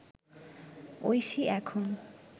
ঐশী এখন